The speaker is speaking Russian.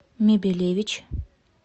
мебелевич